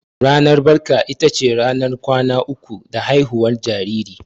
Ranar barka ita ce ranar kwana uku da haihuwar jariri.